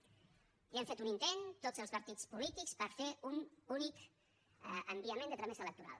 ja hem fet un intent tots els partits polítics per fer un únic enviament de tramesa electoral